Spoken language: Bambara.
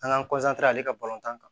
An k'an ale ka balontan kan